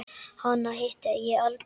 Hana hitti ég aldrei.